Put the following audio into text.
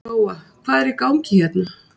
Lóa: Hvað er í gangi hérna?